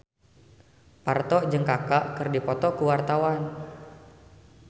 Parto jeung Kaka keur dipoto ku wartawan